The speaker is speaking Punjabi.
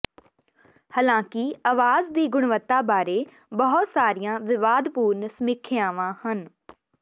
ਹਾਲਾਂਕਿ ਆਵਾਜ਼ ਦੀ ਗੁਣਵੱਤਾ ਬਾਰੇ ਬਹੁਤ ਸਾਰੀਆਂ ਵਿਵਾਦਪੂਰਨ ਸਮੀਖਿਆਵਾਂ ਹਨ